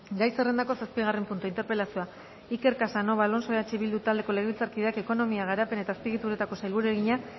gai zerrendako zazpigarren puntua interpelazioa iker casanova alonso eh bildu taldeko legebiltzarkideak ekonomiaren garapen eta azpiegituretako sailburuari egina